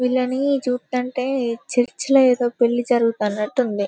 Villainy చూస్తంటే church లో ఏదో పెళ్లి జరుగుతానట్టు ఉన్నది.